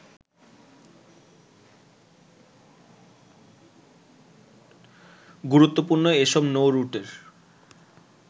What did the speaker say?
গুরুত্বপূর্ণ এ সব নৌরুটের